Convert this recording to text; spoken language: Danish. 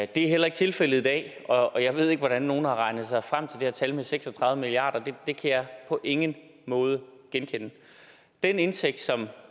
det er heller ikke tilfældet i dag og jeg ved ikke hvordan nogen har regnet sig frem til det her tal på seks og tredive milliard det kan jeg på ingen måde genkende den indtægt som